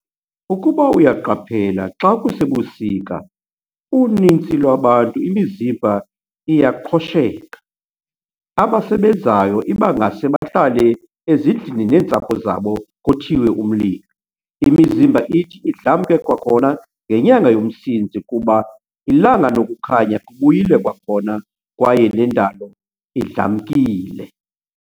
Ukuba uyaqaphela xa kusebusika unintsi lwabantu imizimba iyaqhosheka, abasebenzayo ibangase bahlale ezindlini neentsapho zabo kothiwe umlilo. Imizimba ithi idlamke kwakhona ngenyanga yoMsintsi kuba ilanga nokukhanya kubuyile kwakhona kwaye nendalo idlamkile.